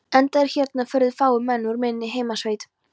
Enda eru hérna furðu fáir menn úr minni heimasveit.